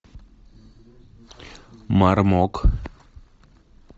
мармок